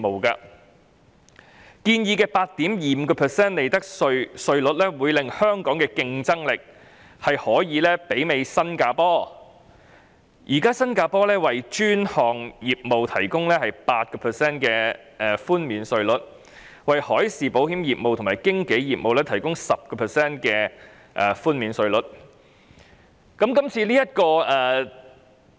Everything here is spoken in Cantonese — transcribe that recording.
建議的 8.25% 利得稅稅率會令香港的競爭力大致媲美新加坡。現時，新加坡為專項業務提供 8% 寬免稅率，為海事保險業務和經紀業務提供 10% 寬免稅率。